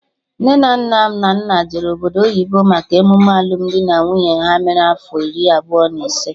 Nne na nna Nnanna jere obodo oyibo maka emume alụmdi na nwunye ha mere afọ iri abụọ na ise